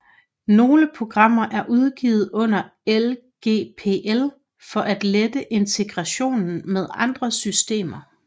Nogle programmer er udgivet under LGPL for at lette integrationen med andre systemer